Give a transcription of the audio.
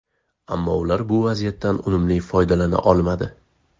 Ammo ular bu vaziyatdan unumli foydalana olmadi.